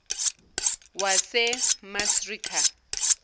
wasemasreeka